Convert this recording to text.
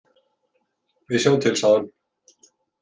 Við sjáum til, sagði hann.